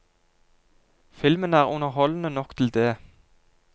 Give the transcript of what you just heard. Filmen er underholdende nok til det.